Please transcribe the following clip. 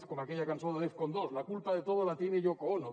és com aquella cançó de def con dos la culpa de todo la tiene yoko ono